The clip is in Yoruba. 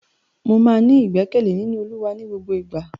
Mo máa ní ìgbẹkẹ̀lé nínú olúwa ní gbogbo ìgbà.